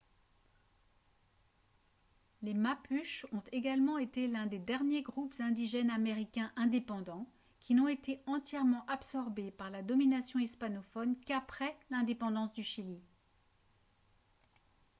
les mapuches ont également été l'un des derniers groupes indigènes américains indépendants qui n'ont été entièrement absorbés par la domination hispanophone qu'après l'indépendance du chili